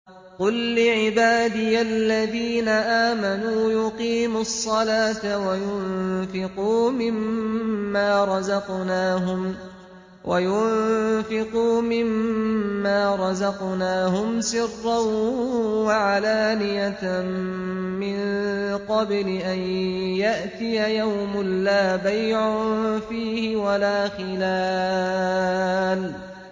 قُل لِّعِبَادِيَ الَّذِينَ آمَنُوا يُقِيمُوا الصَّلَاةَ وَيُنفِقُوا مِمَّا رَزَقْنَاهُمْ سِرًّا وَعَلَانِيَةً مِّن قَبْلِ أَن يَأْتِيَ يَوْمٌ لَّا بَيْعٌ فِيهِ وَلَا خِلَالٌ